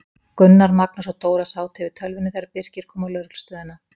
Gunnar, Magnús og Dóra sátu yfir tölvunni þegar Birkir kom á lögreglustöðina.